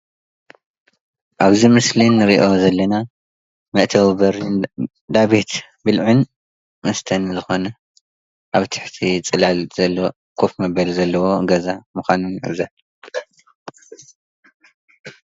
ኣብዚ ምስሊ እንሪኦ ዘለና መእተዊ በሪ እንዳቤት ብልዕን መስተን ዝኾነ ኣብ ትሕቲ ፅላል ዘለዎ ከፍ መበሊ ዘለዎ ገዛ ምዃኑን ንዕዘብ፡፡